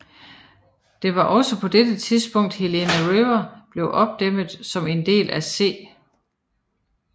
Det var også på dette tidspunkt Helena River blev opdæmmet som del af C